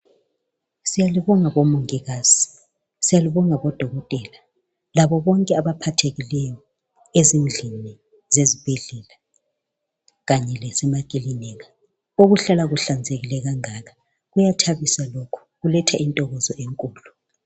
Siyalibonga bomongikazi, siyalibonga bodokotela, labobonke abaphathekileyo ezindlini zesibhedlela lasemakilinika, okuhlala kuhlanzekile kangaka. Kuyathabisa lokhu, kuletha intokozo enkulu.